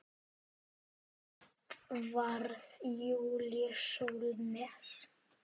Edvarð Júlíus Sólnes.